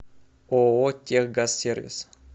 ооо техгазсервис